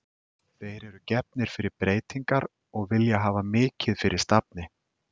Þeir eru gefnir fyrir breytingar og vilja hafa mikið fyrir stafni.